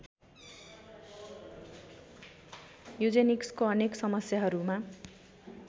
यूजेनिक्सको अनेक समस्याहरूमा